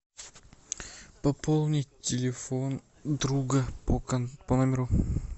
пополнить телефон друга по номеру